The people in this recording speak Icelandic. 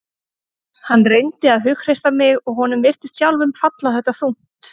Hann reyndi að hughreysta mig og honum virtist sjálfum falla þetta þungt.